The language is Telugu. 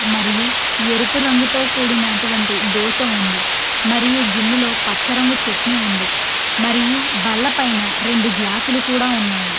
మరియు ఎరుపు రంగుతో కూడినటువంటి దోస ఉంది. మరియు గిన్ని లో పచ్చరంగు చెట్ని ఉంది. మరియు బల్ల పైన రెండు గ్లాస్ లు కూడా ఉన్నాయి.